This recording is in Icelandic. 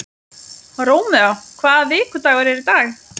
Rómeó, hvaða vikudagur er í dag?